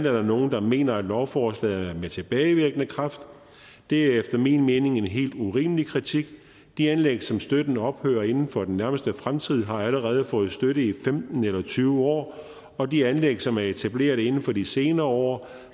er der nogle der mener at lovforslaget er med tilbagevirkende kraft det er efter min mening en helt urimelig kritik de anlæg som støtten ophører inden for i den nærmeste fremtid har allerede fået støtte i femten eller tyve år og de anlæg som er etableret inden for de senere år